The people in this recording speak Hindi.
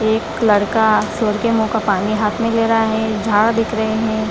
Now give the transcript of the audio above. एक लड़का सुअर के मुंह का पानी हाथ में ले रहा है दिख रहे है।